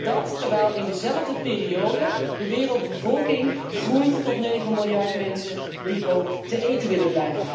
En dat terwijl in dezelfde periode de wereldbevolking groeit tot negen miljard mensen, die ook te eten willen.